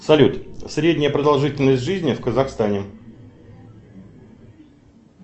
салют средняя продолжительность жизни в казахстане